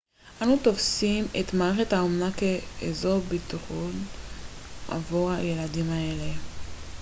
אנו תופסים את מערכת האומנה כאזור ביטחון עבור ילדים אלה